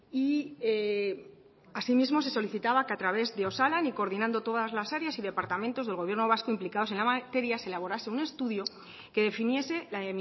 y asimismo se solicitaba que a través de osalan y coordinando todas las áreas y departamentos del gobierno vasco implicados en la materia se elaborase un estudio que definiese la